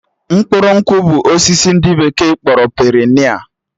Mkpụrụ nkwụ bụ osisi ndị bekee kpọrọ perenia